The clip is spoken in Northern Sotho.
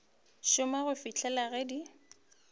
šoma go fihlela ge di